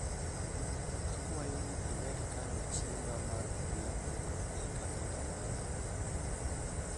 akwayo ni imed kano chiemba mar odhiambo e kalenda mara